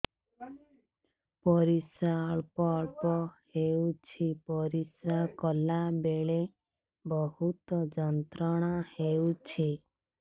ପରିଶ୍ରା ଅଳ୍ପ ଅଳ୍ପ ହେଉଛି ପରିଶ୍ରା କଲା ବେଳେ ବହୁତ ଯନ୍ତ୍ରଣା ହେଉଛି